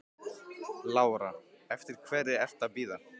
Lára: Eftir hverri ertu að bíða?